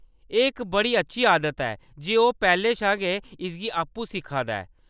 एह्‌‌ इक बड़ी अच्छी आदत ऐ जे ओह्‌‌ पैह्‌‌‌लें शा गै इसगी आपूं सिक्खा दा ऐ।